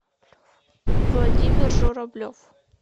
владимир журавлев